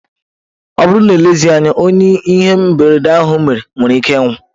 Ọ bụrụ na elezighi anya, onye ihe mberede ahụ mere nwere ike ịnwụ.